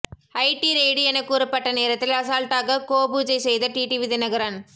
ID raid என கூறப்பட்ட நேரத்தில் அசால்ட்டாக கோ பூஜை செய்த டிடிவி தினகரன்